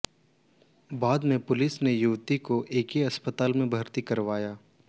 बाद में पुलिस ने युवती को एसके अस्पताल में भर्ती करवाया